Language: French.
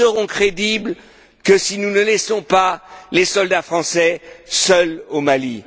Mais nous ne serons crédibles que si nous ne laissons pas les soldats français seuls au Mali.